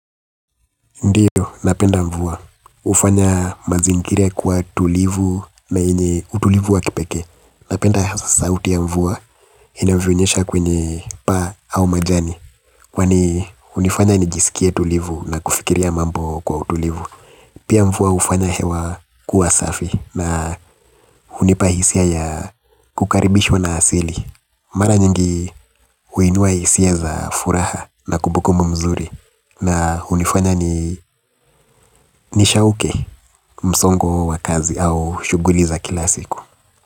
Ndio, napenda mvua. Ufanya mazingira kwa tulivu na yenye utulivu wa kipekee. Napenda hasa sauti ya mvua inavyo nyesha kwenye paa au majani. Kwani hunifanya nijisikie tulivu na kufikiria mambo kwa utulivu. Pia mvua hufanya hewa kuwa safi na hunipa hisia ya kukaribishwa na asili. Mara nyingi huinua hisia za furaha na kubukumbu mzuri. Na hunifanya ni nishauke msongo huu wa kazi au shuguli za kila siku.